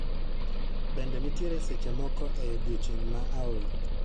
Bende nitiere seche moko e odiechieng' ma aol